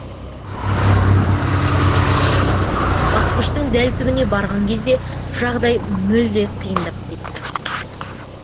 басқыштың дәл түбіне барған кезде жағдай мүлде қиындап кетті